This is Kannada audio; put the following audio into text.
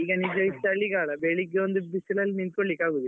ಈಗ ನಿಜವಾಗಿ ಚಳಿಗಾಲ ಬೆಳ್ಳಿಗೆಯೊಂದು ಬಿಸಿಲಲ್ಲಿ ನಿಂತ್ಕೊಳ್ಳಿಕ್ಕೆ ಆಗುದಿಲ್ಲ.